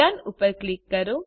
Don ઉપર click કરો